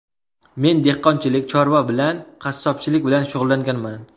Men dehqonchilik, chorva bilan, qassobchilik bilan shug‘ullanganman.